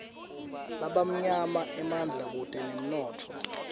labamnyama emandla kutemnotfo